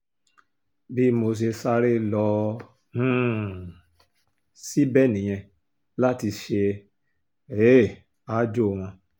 bí mo ṣe sáré lọ um síbẹ̀ nìyẹn láti ṣe um aájò wọn